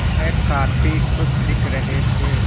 वह काफ़ी खुश दिख रहे थे